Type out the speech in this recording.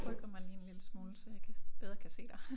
Rykker mig lige en lille smule så jeg kan bedre kan se dig